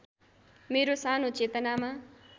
मेरो सानो चेतनामा